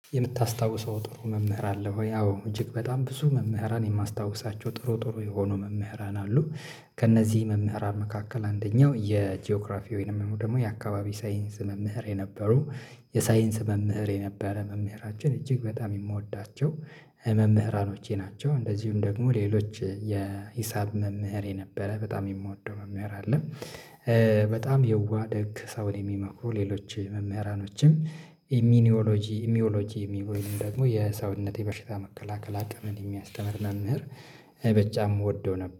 የምታስታውሰው ጥሩ መምህር አለ ወይ? አዎ እጅግ በጣም ብዙ መምህራን የማስታውሳቸው ጥሩ ጥሩ የሆኑ መምህራን አሉ። ከእነዚህ መምህራን መካከል አንደኛው የጂኦግራፊ ወይም ደግሞ የአካባቢ ሳይንስ መምህር የነበሩ የሳይንስ መምህር የነበረ መምህራችን እጅግ በጣም የምወዳቸው መምህራኖቼ ናቸው። እንደዚሁም ደግሞ ሌሎች የሂሳብ መምህር የነበረ በጣም የምወደው መምህር አለ። በጣም የዋህ ደግ ሰውን የሚመክሩ ሌሎች መምህራኖችም። ኢሚኒዮሎጂ ኢሚዮሎጂ የሚ ደግሞ የሰውነቴ በሽታ መከላከል አቅምን የሚያስተምር መምህር። በጣም እወደው ነበር